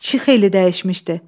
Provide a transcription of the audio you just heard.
Kişi xeyli dəyişmişdi.